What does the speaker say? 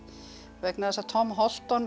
vegna þess að Tom